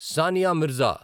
Sania Mirza